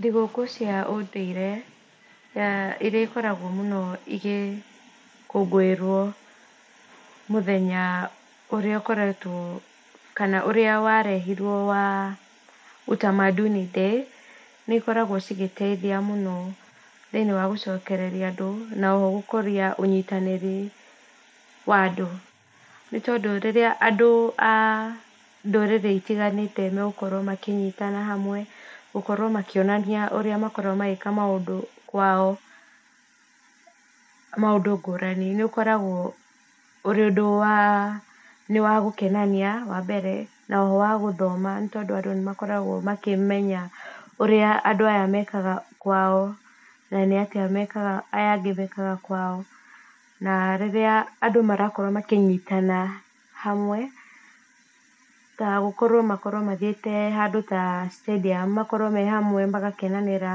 Thigũkũ cia ũndũire iria ikoragwo mũno igĩkũngũĩrwo mũthenya ũrĩa ũkoretwo kana ũrĩa wa rehirwo wa Utamaduni Day, nĩikoragwo cigĩteithia mũno thĩiniĩ wa gũcokereria andũ na oho gũkũria ũnyitanĩri wa andũ. Nĩ tondũ rĩrĩa andũ a ndũrĩrĩ itiganĩte megũkorwo makĩnyitana hamwe gũkorwo makĩonania ũrĩa makoragwo magĩka maũndũ kwao maũndũ ngũrani, nĩũkoragwo ũrĩ ũndũ waa nĩ wa gũkenania wa mbere na oho wa gũthoma nĩtondũ andũ nĩ makoragwo makĩmenya ũrĩa andũ aya mekaga kwao na nĩ atĩa mekaga aya angĩ mekaga kwao na rĩrĩa andũ marakorwo makĩnyitana hamwe ta gũkorwo magĩte handũ ta stadium makorwo me hamwe magakenanĩra